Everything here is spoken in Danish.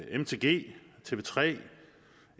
mtg tv3